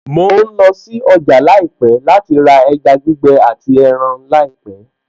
Mo ń lọ sí ọjà láìpẹ̀ láti ra ẹja gbígbẹ àti ẹran láìpẹ̀